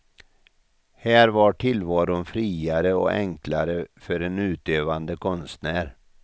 Här var tillvaron friare och enklare för en utövande konstnär.